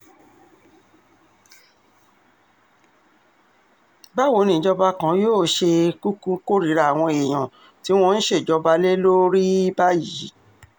báwo ni ìjọba kan yóò ṣe um kúkú kórìíra àwọn èèyàn tí wọ́n ń ṣèjọba lé lórí um báyìí